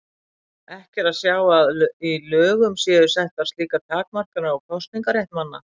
Ekki er að sjá að í lögum séu settar slíkar takmarkanir á kosningarétt manna.